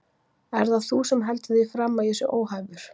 Ert það þú sem heldur því fram að ég sé óhæfur?